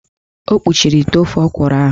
O kpuchiri ite ofe ọkwụrụ ahụ.